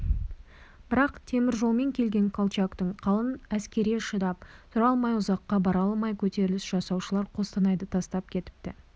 бірақ темір жолмен келген колчактың қалын әскеріне шыдап тұра алмай ұзаққа бара алмай көтеріліс жасаушылар қостанайды тастап кетіпті